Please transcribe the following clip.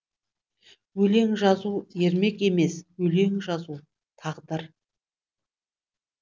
өлең жазу ермек емес өлең жазу тағдыр